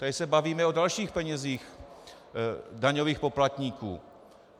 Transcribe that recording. Tady se bavíme o dalších penězích daňových poplatníků.